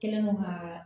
Kɛlen don ka